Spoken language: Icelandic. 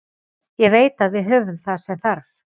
Ég veit að við höfum það sem þarf.